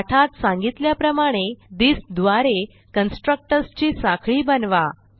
पाठात सांगितल्याप्रमाणे थिस द्वारे कन्स्ट्रक्टर्स ची साखळी बनवा